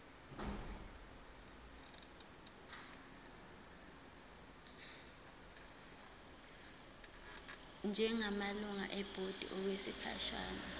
njengamalungu ebhodi okwesikhashana